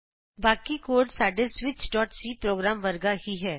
ਬਾਕੀ ਕੋਡ ਸਾਡੇ switchਸੀ ਪ੍ਰੋਗਰਾਮ ਵਰਗਾ ਹੀ ਹੈ